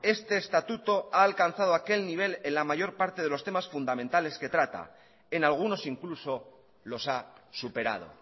este estatuto ha alcanzado aquel nivel en la mayor parte de los temas fundamentales que trata en algunos incluso los ha superado